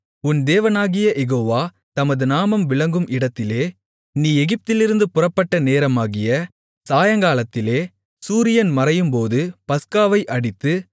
உன் தேவனாகிய யெகோவா தமது நாமம் விளங்கும் இடத்திலே நீ எகிப்திலிருந்து புறப்பட்ட நேரமாகிய சாயங்காலத்திலே சூரியன் மறையும்போது பஸ்காவை அடித்து